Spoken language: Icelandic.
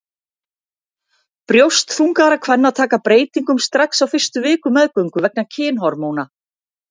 Brjóst þungaðra kvenna taka breytingum strax á fyrstu vikum meðgöngu vegna kynhormóna.